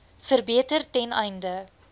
verbeter ten einde